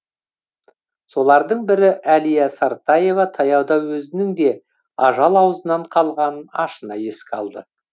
солардың бірі әлия сартаева таяуда өзінің де ажал аузынан қалған ашына еске алды